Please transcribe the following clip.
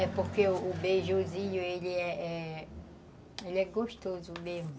É porque o beijuzinho, ele é gostoso mesmo.